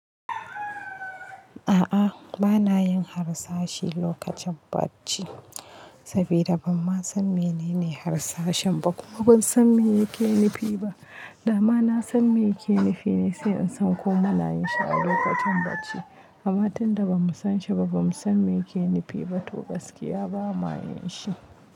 A'a, ba na yin harsashi lokacin bacci sabi da ban ma san mene ne harsashen ba kuma ban san me yake nufi ba. Da ma na san me yake nufi ne sai in san ko muna yin shi a lokacin bacci. Amma tun da ba mu san shi ba, ba mu san me yake nufi ba, to gaskiya ba ma yin shi.